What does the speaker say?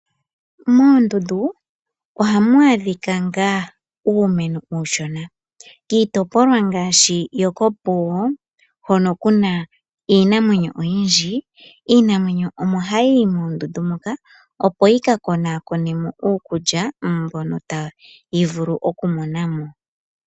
Moondundu ohamu adhika ngaa nuumeno uushona. Kiitopolwa ngaashi yokOpuwo hono ku na iinamwenyo oyindji, iinamwenyo omo hayi yi moondundu moka opo yi ka konaakonemo uukulya mbono tayi vulu okumona mo.